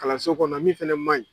Kalanso kɔnɔ min fana man ɲi.